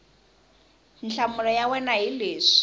nhlamulo ya wena hi leswi